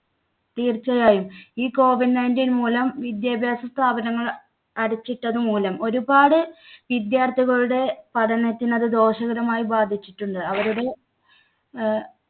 തീർച്ചയായും. ഈ COVID nineteen മൂലം വിദ്യാഭ്യാസ സ്ഥാപനങ്ങൾ അടച്ചിട്ടത് മൂലം ഒരുപാട് വിദ്യാർത്ഥികളുടെ പഠനത്തിന് അത് ദോഷകരമായി ബാധിച്ചിട്ടുണ്ട്. അവരുടെ അഹ്